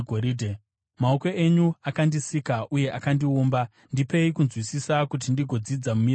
Maoko enyu akandisika uye akandiumba; ndipei kunzwisisa kuti ndigodzidza mirayiro yenyu.